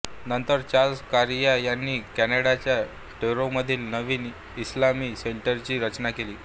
नंतर चार्ल्स कॉरिया यांनी कॅनडाच्या टोरोंटोमधील नवीन इस्माइली सेंटरची रचना केली